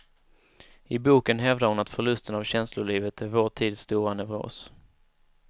I boken hävdar hon att förlusten av känslolivet är vår tids stora neuros.